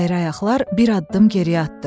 Əyri ayaqlar bir addım geriyə atdı.